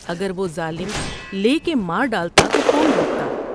اگر وہ ظالم لے کے مارڈالتا تو کون روکتا ۔